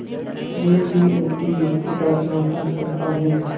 मैं भी उनकी युक्ति का समर्थन करता हूँ